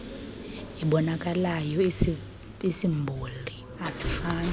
iboonakalayo iisimboli azifani